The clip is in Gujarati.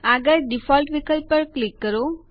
આગળ ડિફોલ્ટ વિકલ્પ પર ક્લિક કરો